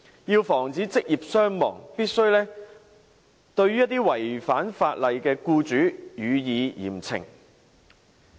要防止職業傷亡，必須對於違反法例的僱主予以嚴懲。